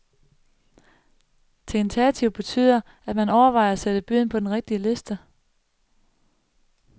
Tentativ betyder, at man overvejer at sætte byen på den rigtige liste.